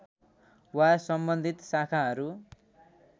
वा सम्बन्धित शाखाहरू